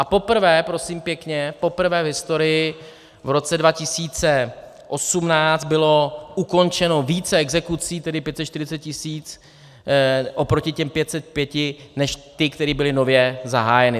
A poprvé, prosím pěkně, poprvé v historii v roce 2018 bylo ukončeno více exekucí, tedy 540 tisíc, proti těm 505, než ty, které byly nově zahájeny.